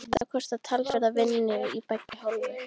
Þetta kostar talsverða vinnu af beggja hálfu.